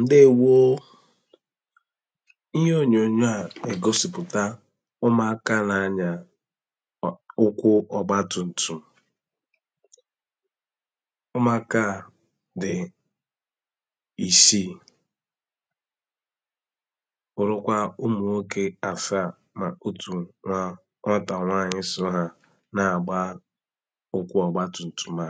ǹdeèwo ihe ònyònyò a ègosìpùta ụmụ̀akȧ na anya ụkwụ ọ̀gba tùǹtù ụmụ̀akȧ a dì isii òlekwa ụmụ̀nwokė afi à mà otù nwà ọtà nwanyị sụ hȧ na-àgba ụkwụ ọ̀gba tùǹtù mà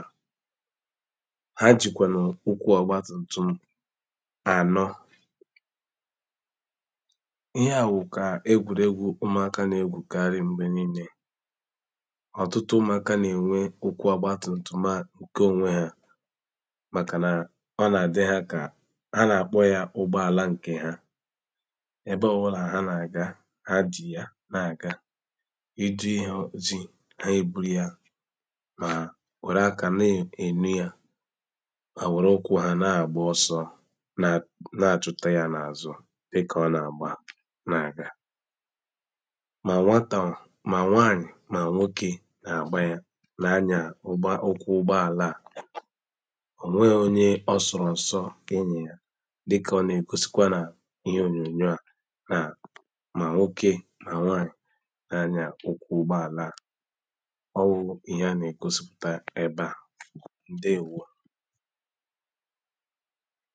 ànọ n’achụta ya n’azụ̀ dị ka ọ na-agba na-aga ma nwatà, ma nwaanyị ma nwoke na-agba ya na anya ụgbọ okwu ụgbọ ala à onwe onye ọ sụrụ nsọ enyi ya dịka ọ na-ekosikwa na ihe onyonyo à naa ma nwoke na nwaanyị na-anyà ụkwụ ụgbọ ala à ọ wu ihe a na-ekosiputa ebe à ha bịa, hà ànalụzie gị̇ ebe ị kwụsị̀lị̀ malụzie ihe ha gà-ẹ̀mẹ, kpọlụzịẹ ndị mẹlụlụ ahụ jẹbẹzịẹ ụnọ̀ọgwụ̀ m̀gbe ọbụnà ẹnwẹ̀lụ̀ ihẹ m̀bẹ̀lẹ̀dẹ, ọ bụ̀ akala ẹkwẹntị̇ a kà ị gà-àkpọ, ìtoolu̇ otù nà otù dàalụ nụ̀